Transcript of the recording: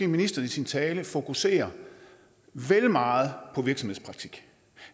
ministeren i sin tale måske fokuserede vel meget på virksomhedspraktik